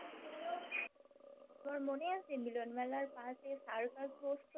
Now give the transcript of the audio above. তোমার মনে আছে মিলন মেলার পশে circus বস্তু